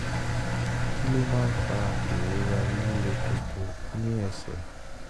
kí ló máa ń fa ìrora líle koko ní ẹsẹ̀?